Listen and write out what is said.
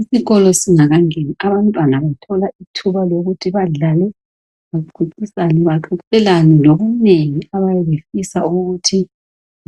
Isikolo singakangeni abantwana bathola ithumba lokuthi badlale bexoxelana ngokunengi abaye befisa ukuthi